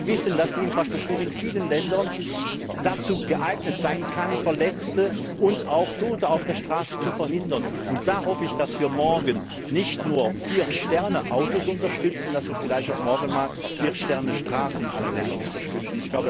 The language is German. Wir wissen, dass die Infrastruktur in vielen Ländern dazu geeignet sein kann, Verletzte und auch Tote auf der Straße zu verhindern. Und da hoffe ich, dass wir morgen nicht nur 4 Sterne Autos unterstützen, sondern dass wir morgen vielleicht auch 4 Sterne Straßen in allen Ländern unterstützen.